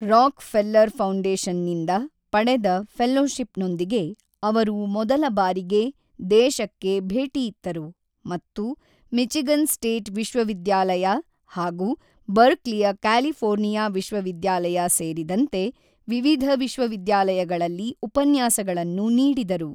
Rock ಫೆಲ್ಲರ್ ಫೌಂಡೇಶನ್ನಿಂದ ಪಡೆದ ಫೆಲೋಶಿಪ್ನೊಂದಿಗೆ ಅವರು ಮೊದಲಬಾರಿಗೆ ದೇಶಕ್ಕೆ ಭೇಟಿಯಿತ್ತರು ಮತ್ತು ಮಿಚಿಗನ್ ಸ್ಟೇಟ್ ವಿಶ್ವವಿದ್ಯಾಲಯ ಹಾಗೂ ಬರ್ಕ್ಲಿಯ ಕ್ಯಾಲಿಫೋರ್ನಿಯಾ ವಿಶ್ವವಿದ್ಯಾಲಯ ಸೇರಿದಂತೆ ವಿವಿಧ ವಿಶ್ವವಿದ್ಯಾಲಯಗಳಲ್ಲಿ ಉಪನ್ಯಾಸಗಳನ್ನು ನೀಡಿದರು.